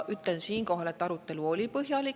Ütlen siinkohal, et arutelu oli põhjalik.